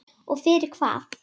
Og fyrir hvað?